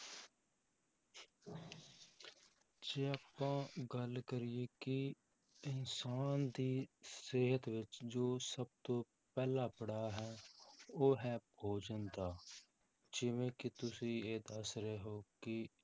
ਜੇ ਆਪਾਂ ਗੱਲ ਕਰੀਏ ਕਿ ਇਨਸਾਨ ਦੀ ਸਿਹਤ ਵਿੱਚ ਜੋ ਸਭ ਤੋਂ ਪਹਿਲਾ ਪੜਾਅ ਹੈ ਉਹ ਹੈ ਭੋਜਨ ਦਾ, ਜਿਵੇਂ ਕਿ ਤੁਸੀਂ ਇਹ ਦੱਸ ਰਹੇ ਹੋ ਕਿ